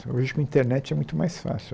Hoje, com internet, é muito mais fácil.